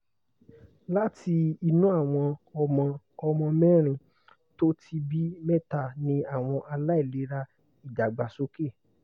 láti inú àwọn ọmọ ọmọ mérin tó ti bí mẹ́ta ní àwọn àìlera idagbasoke